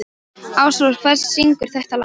Ásrós, hver syngur þetta lag?